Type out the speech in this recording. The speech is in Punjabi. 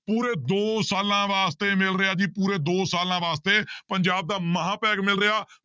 ਪੂਰੇ ਦੋ ਸਾਲਾਂ ਵਾਸਤੇ ਮਿਲ ਰਿਹਾ ਜੀ ਪੂਰੇ ਦੋ ਸਾਲਾਂ ਵਾਸਤੇ ਪੰਜਾਬ ਦਾ ਮਹਾਂ ਪੈਕ ਮਿਲ ਰਿਹਾ।